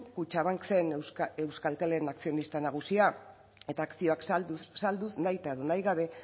kutxabank zen euskaltelen akzionista nagusia eta akzioak salduz nahita edo nahi gabe